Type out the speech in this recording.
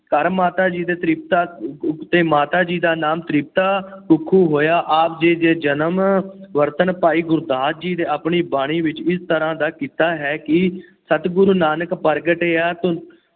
ਘਰ ਮਾਤਾ ਜੀ ਦੇ ਤ੍ਰਿਪਤਾ ਅਹ ਅਤੇ ਮਾਤਾ ਜੀ ਦਾ ਨਾਮ ਤ੍ਰਿਪਤਾ ਕੁੱਖੋ ਹੋਇਆ। ਆਪ ਜੀ ਦੇ ਜਨਮ ਵਰਤਣ ਭਾਈ ਗੁਰਦਾਸ ਜੀ ਨੇ ਆਪਣੀ ਬਾਣੀ ਵਿੱਚ ਇਸ ਤਰ੍ਹਾ ਦਾ ਕੀਤਾ ਹੈ ਕਿ ਸਤਿਗੁਰੂ ਨਾਨਕ ਪ੍ਰਗਟਿਆ ਧੁੁੰਦ